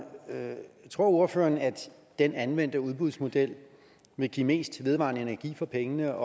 tror ordføreren at den anvendte udbudsmodel vil give mest vedvarende energi for pengene